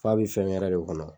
Fa bi fɛn wɛrɛ de kɔnɔ.